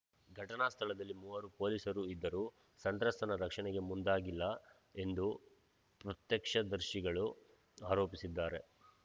ಘಟನಾ ಸ್ಥಳದಲ್ಲಿ ಮೂವರು ಪೊಲೀಸರು ಇದ್ದರೂ ಸಂತ್ರಸ್ತನ ರಕ್ಷಣೆಗೆ ಮುಂದಾಗಿಲ್ಲ ಎಂದು ಪ್ರತ್ಯಕ್ಷದರ್ಶಿಗಳು ಆರೋಪಿಸಿದ್ದಾರೆ